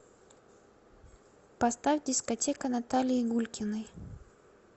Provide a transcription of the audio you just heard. поставь дискотека наталии гулькиной